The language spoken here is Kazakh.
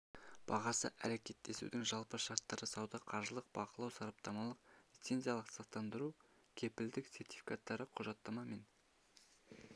бағасы әрекеттесудің жалпы шарттары сауда қаржылық бақылау сараптамалық лицензиялық-сақтандыру кепілдік сертификаттары құжаттама мен